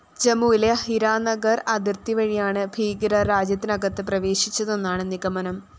ജമ്മുവിലെ ഹിരാനഗര്‍ അതിര്‍ത്തി വഴിയാണ് ഭീകരര്‍ രാജ്യത്തിനകത്ത് പ്രവേശിച്ചതെന്നാണ് നിഗമനം